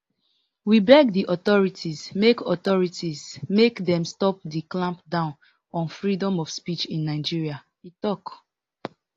we beg di authorities make authorities make dem stop di clampdown on freedom of speech in nigeria e tok